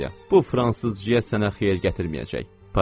Bu fransızca sənə xeyir gətirməyəcək.